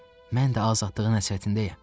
Mən də azadlığın həsrətindəyəm.